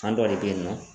Kan dɔ de be yen nɔ